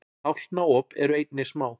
tálknaop eru einnig smá